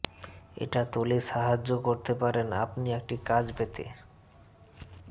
এটা তোলে সাহায্য করতে পারেন আপনি একটি কাজ পেতে